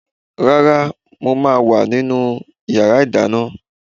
Rárá, mo ma wà ní inú yàrá ìdáná